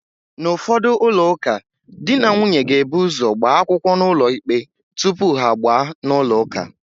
N'ụfọdụ ụlọụka, di na nwunye ga-ebu ụ́zọ̀ gbaa akwụkwọ n'ụlọikpe tupu ha agbaa n'ụlọụka.